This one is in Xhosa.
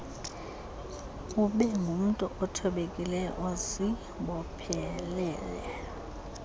ubengumntu othobekileyo ozibophelele